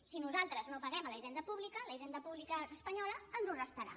si nosaltres no paguem a la hisenda pública la hisenda pública espanyola ens ho restarà